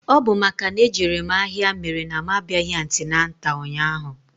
Ọ bụ makana ejere mụ ahịa mere na mụ abịaghị antịnantal ụnyaahụ.